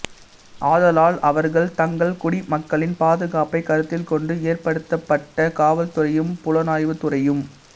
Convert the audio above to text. ஆதலால் அவர்கள் தங்கள் குடிமக்களின் பாதுகாப்பை கருத்தில் கொண்டு ஏற்படுத்தப்பட்டதே காவல்துறையும் புலனாய்வுத்துறையும்